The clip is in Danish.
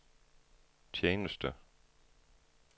tjeneste